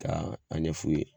Taa a ɲɛ f'u ye